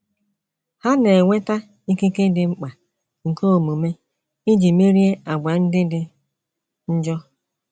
Ha na - enweta ikike dị mkpa nke omume iji merie àgwà ndị dị njọ.